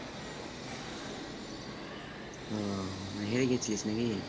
ও মানে হেরে গেছিলিস নাকি